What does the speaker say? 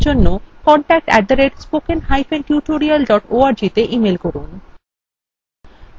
অধিক বিবরণের জন্য contact @spokentutorial org তে ইমেল করুন